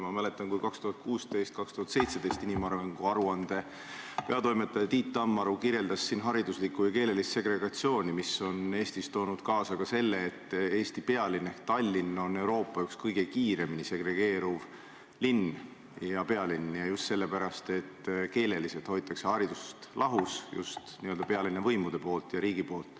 Ma mäletan, kui inimarengu aruande 2016/2017 peatoimetaja Tiit Tammaru kirjeldas siin hariduslikku ja keelelist segregatsiooni, mis on Eestis toonud kaasa selle, et Eesti pealinn ehk Tallinn on Euroopa üks kõige kiiremini segregeeruvaid linnu ja pealinnu, ja seda selle pärast, et keeleliselt hoitakse haridust lahus just pealinna võimude ja riigi poolt.